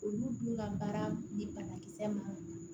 Olu dun ka baara di banakisɛ ma